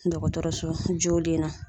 Dɔgɔtɔrɔso jolen na.